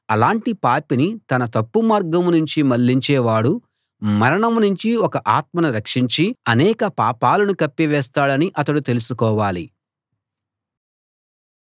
అలాటి పాపిని తన తప్పుమార్గం నుంచి మళ్ళించే వాడు మరణం నుంచి ఒక ఆత్మను రక్షించి అనేక పాపాలను కప్పివేస్తాడని అతడు తెలుసుకోవాలి